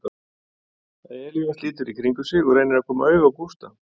Elías lítur í kringum sig og reynir að koma auga á Gústa.